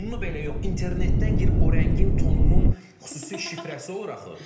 Tonunu belə yox, internetdən girib o rəngin tonunun xüsusi şifrəsi olur axı.